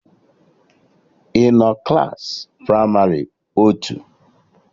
I nọ Klassị pramarị otu?